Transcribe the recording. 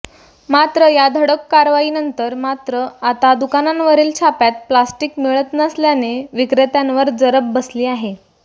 मात्र या धडक कारवाईनंतर मात्र आता दुकानांवरील छाप्यात प्लास्टिक मिळत नसल्याने विक्रेत्यांवर जरब बसली आहे